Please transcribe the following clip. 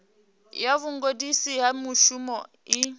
ya vhugudisi ha mushumo i